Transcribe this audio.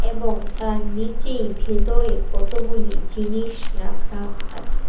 এবং তার নিচেই ভেতরে কতগুলি জিনিস রাখা আছে।